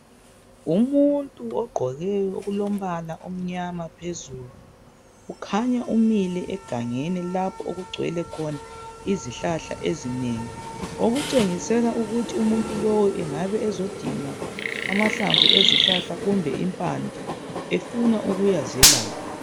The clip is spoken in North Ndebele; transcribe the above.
Umuntu ugqoke okulombala amnyama phezulu. Kukhanya umile egangeni lapho kugcwele khona izihlahla eziminyeneyo okutshengisela ukuthi umuntu lowu engabe ezodinga amahlamvu ezihlahla kumbe impande efuna ukuyazelapha.